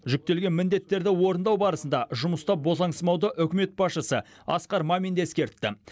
жүктелген міндеттерді орындау барысында жұмыста босаңсымауды үкімет басшысы асқар мамин де ескертті